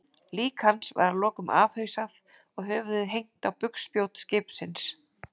Lík hans var að lokum afhausað og höfuðið hengt á bugspjót skipsins.